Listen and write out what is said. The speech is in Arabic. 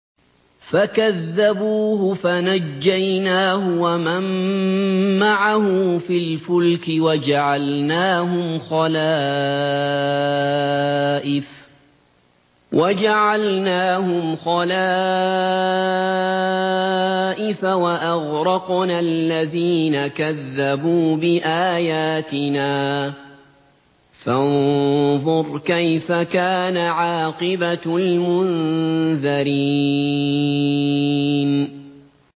فَكَذَّبُوهُ فَنَجَّيْنَاهُ وَمَن مَّعَهُ فِي الْفُلْكِ وَجَعَلْنَاهُمْ خَلَائِفَ وَأَغْرَقْنَا الَّذِينَ كَذَّبُوا بِآيَاتِنَا ۖ فَانظُرْ كَيْفَ كَانَ عَاقِبَةُ الْمُنذَرِينَ